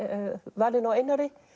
valinu á Einari